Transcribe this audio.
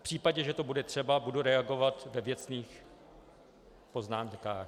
V případě, že to bude třeba, budu reagovat ve věcných poznámkách.